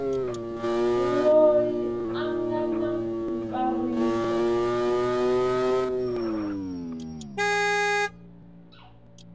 loyi a nga na ntsariso